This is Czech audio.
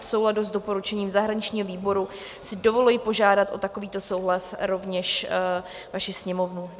V souladu s doporučením zahraničního výboru si dovoluji požádat o takovýto souhlas rovněž vaši Sněmovnu.